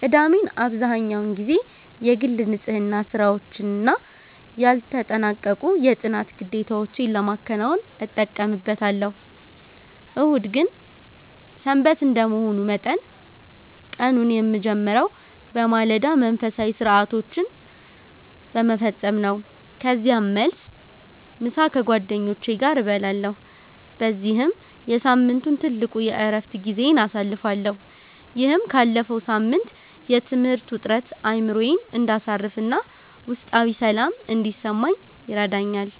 ቅዳሜን አብዛህኛውን ጊዜ የግል ንጽሕና ሥራዎችና ያልተጠናቀቁ የጥናት ግዴታዎቼን ለማከናወን እጠቀምበታለሁ። እሁድ ግን "ሰንበት" እንደመሆኑ መጠን፣ ቀኑን የምጀምረው በማለዳ መንፈሳዊ ሥርዓቶችን በመፈጸም ነው። ከዚያም መልስ፣ ምሳ ከጓደኞቼ ጋር እበላለሁ በዚህም የሳምንቱ ትልቁ የዕረፍት ጊዜዬን አሳልፋለሁ። ይህም ካለፈው ሳምንት የትምህርት ውጥረት አእምሮዬ እንዲያርፍና ውስጣዊ ሰላም እንዲሰማኝ ይረዳኛል።